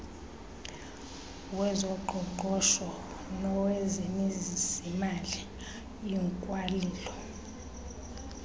wezoqoqosho nowezezimali ikwalilo